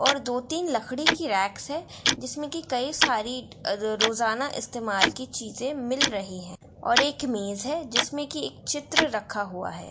और दो-तीन लकड़ी की रेक्स है जिसमें की कई सारी रोजाना इस्तेमाल की चीजें से मिल रही है और एक मेज है जिसमें की चित्र रखा हुआ है।